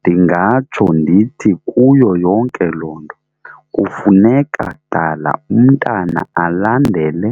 Ndingatsho ndithi kuyo yonke loo nto kufuneka qala umntana alandele